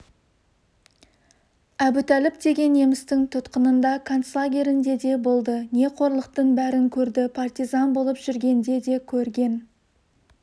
әбутәліп деген немістің тұтқынында концлагерінде де болды не қорлықтың бәрін көрді партизан болып жүргенде де көрген